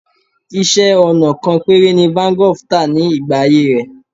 Iṣẹ́-ọnà kan péré ni Van Gogh tà ní ìgbà ayé rẹ̀.